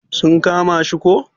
Sun kama shi ko?